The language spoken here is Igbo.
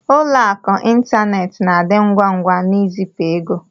Ụlọ akụ ịntanetị na-adị ngwa ngwa n'izipu ego.